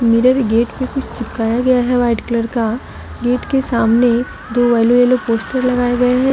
Mirror gate पर कुछ चिपकाए गया है वाइट कलर का गेट के सामने दो येलो येलो पोस्टर लगाए गए हैं।